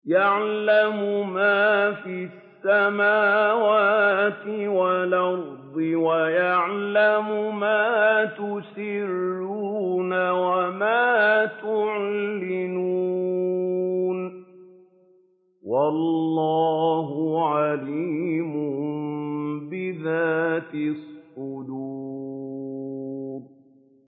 يَعْلَمُ مَا فِي السَّمَاوَاتِ وَالْأَرْضِ وَيَعْلَمُ مَا تُسِرُّونَ وَمَا تُعْلِنُونَ ۚ وَاللَّهُ عَلِيمٌ بِذَاتِ الصُّدُورِ